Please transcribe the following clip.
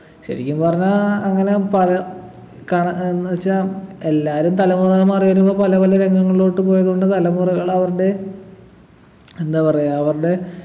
ശരിക്കും പറഞ്ഞാ അങ്ങനെ പല കണ എന്നുവച്ചാ എല്ലാരും തലമുറകൾ മാറി വരുമ്പോ പല പല രംഗങ്ങളിലോട്ട് പോയതുകൊണ്ട് തലമുറകളവരുടെ എന്താ പറയാ അവരുടെ